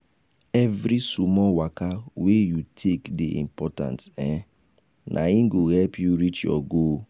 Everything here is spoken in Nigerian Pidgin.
every small waka wey you take dey important um na im go help you reach your goal